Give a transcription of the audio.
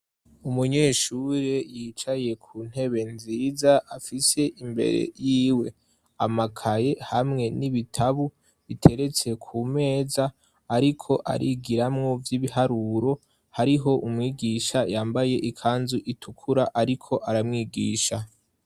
Umunyeshuri yicaye ku ntebe nziza afise imbere yiwe amakaye hamwe n'ibitabu biteretse ku meza ariko arigiramu vy'ibiharuro hariho umwigisha yambaye ikanzu itukura ariko aramwigisha.